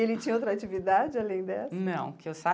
Ele tinha outra atividade além dessa? Não que eu